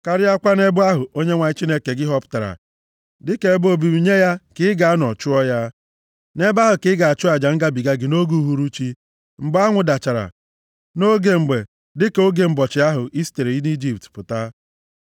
karịakwa nʼebe ahụ Onyenwe anyị Chineke gị họpụtara dịka ebe obibi nye ya ka i ga-anọ chụọ ya. Nʼebe ahụ ka ị ga-achụ aja ngabiga gị nʼoge uhuruchi, mgbe anwụ dachara, nʼoge mgbe dịka oge ụbọchị ahụ i sitere nʼIjipt pụta.